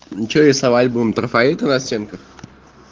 что рисовать будем трафареты на стенках